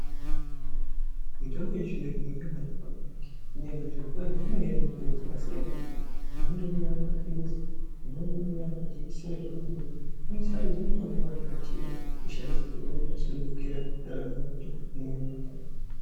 Mutombo yechizvino zvino yakanaka ngenyaya yekuti zviro kwazvo inouya nemutoo dzakasiyana siyana imweni inouya ari mapirizi imweni anouya ari majekisera zvekuti muntu unosarudza mutombo waanenge achida kushandisirwa unenge wakasunungukira ndaramo yake muviri wake.